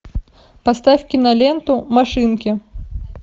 поставь киноленту машинки